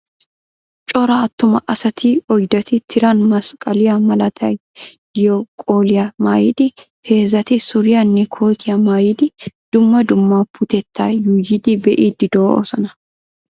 Cora attuma asati oyddati tiran masqaliyaa malaatay diyo qolliyaa maayidi heezati suriyaane kootiya maayidi dumma dumma puutetta yuuyidi bee"iidi doosona.